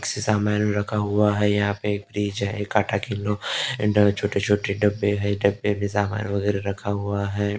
सामान रखा हुआ है यहां पे फ्रिज है छोटे-छोटे डब्बे है डब्बे में सामान वगैरा रखा हुआ है।